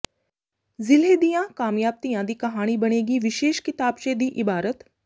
ਜ਼ਿਲ੍ਹੇ ਦੀਆਂ ਕਾਮਯਾਬ ਧੀਆਂ ਦੀ ਕਹਾਣੀ ਬਣੇਗੀ ਵਿਸ਼ੇਸ਼ ਕਿਤਾਬਚੇ ਦੀ ਇਬਾਰਤ